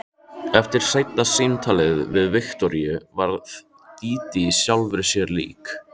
Eftir seinna símtalið við Viktoríu varð Dídí sjálfri sér lík.